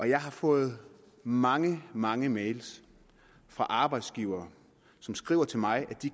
jeg har fået mange mange mail fra arbejdsgivere som skriver til mig at de